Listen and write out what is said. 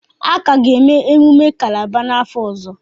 A ka ga-eme emumme Kálábá n'afọ ọzọ